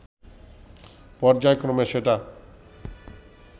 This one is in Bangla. পর্যায়ক্রমে সেটা